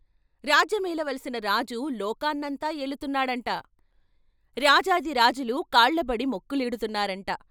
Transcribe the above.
రాజ్యమేలవలసిన రాజు లోకాన్నంతా ఏలుతున్నాడంట. రాజాధి రాజులు కాళ్ళబడి మొక్కులిడుతున్నారంట.